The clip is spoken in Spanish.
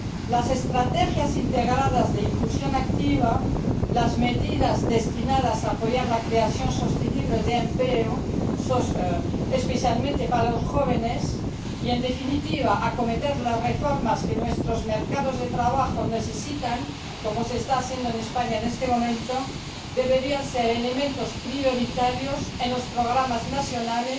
Las estrategias integradas de inclusión activa, las medidas destinadas a apoyar la creación sostenible de empleo, especialmente para los jóvenes, y, en definitiva, acometer las reformas que nuestros mercados de trabajo necesitan, como se está haciendo en España en este momento, deberían ser elementos prioritarios en los programas nacionales